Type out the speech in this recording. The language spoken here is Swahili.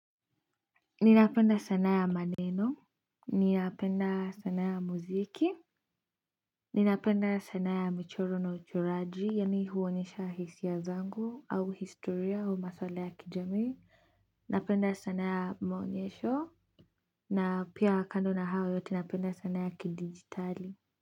Ninapenda sanaa ya maneno ninapenda sanaa ya muziki ninapenda sanaa ya michoro na uchoraji yaani huonyesha hisia zangu au historia u masuala ya kijamii napenda sanaa ya maonyesho na pia kando na hayo yote napenda sana ya kidijitali.